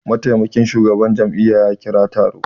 Mataimakin shugaban jami'a ya kira taro